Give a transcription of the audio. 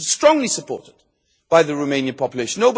This is strongly supported by the Romanian population.